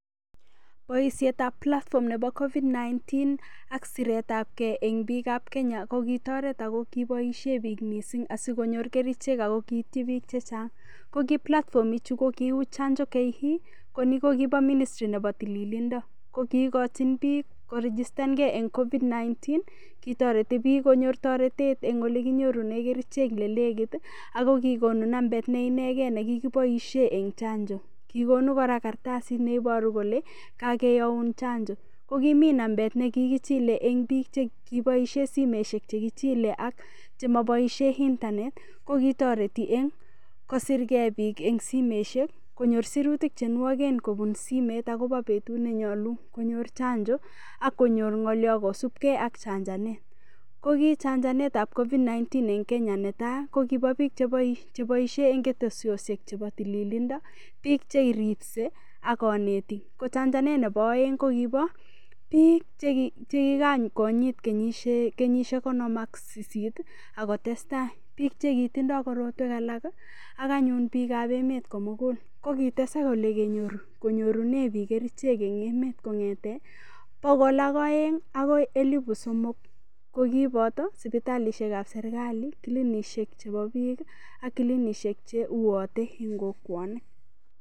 Boishetab platform nebo COVID-19 ak siretab kei eng' biikab Kenya kokitoret ako kiboishe biik mising' asikonyor kerichek ako kiiyiti biik chechang' ko ki platform iichu ko kiu chanjo-ke ko ni ko kibo ministry nebo tililindon ko kiikochin biik korigistangei eng' COVID-19 kitoreti biik konyor toretet eng' ole kinyorune kerichek lekit ako kikonu nambet neinegei nekikiboishe eng' chanjo kikokonu kora karatasit neiboru kole kakeyoun chanjo kokimi nambet nekikichilei eng' biik chekiboishe simeshek chekichilei ak chemaboishe internet kokikotoreti eng' kosirkei biik eng' simeshek konyor sirutik chenwagen kobun sirutik eng' simet akobo betut nenyolu konyor chanjo akonyor ng'olyo kosubkei ak chanjanet ko ki chanjanetab COVID-19 nebo tai eng' Kenya ko kibo biik cheboishei eng' keteshioshek chebo tililindo biik cheripsei ak konetik ko chanjanet nebo oeng' ko kibo biik che kikakonyit kenyishek konom ak sisit akotestai biik chekitindoi korotwek alak ak anyun biikab emet komugul konkitesak ole kinyorune biik kerichek eng' emet kong'ete bokol ak oeng' akoi elibu somok ko kiboto sipitalishekab serikali klinikishek chebo biik ak kilikinishek che uotei eng' kokwonik